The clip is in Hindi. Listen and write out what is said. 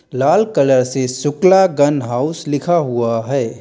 लाल कलर से शुक्ला गन हाऊस लिखा हुआ है।